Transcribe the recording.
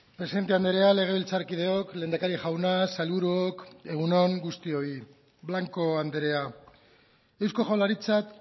presidente andrea legebiltzarkideok lehendakari jauna sailburuok egun on guztioi blanco andrea eusko jaurlaritzak